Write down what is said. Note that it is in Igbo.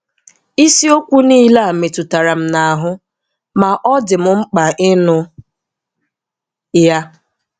Isiokwu niile a metụtara m n'ahu, ma ọ dị m mkpa ịnụ ya.